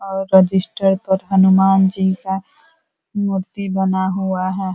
और रजिस्टर पर हनुमान जी का मूर्ति बना हुआ है।